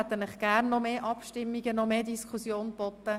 Wir hätten Ihnen gerne noch mehr Abstimmungen und Diskussion geboten.